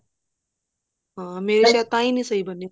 ਹਾਂ ਮੇਰੀ ਸ਼ਾਇਦ ਤਾਹੀਂ ਨੀ ਸਹੀ ਬਣੀ